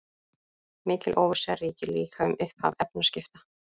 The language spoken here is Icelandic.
Mikil óvissa ríkir líka um upphaf efnaskipta.